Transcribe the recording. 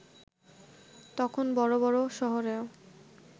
তখন বড় বড় শহরেও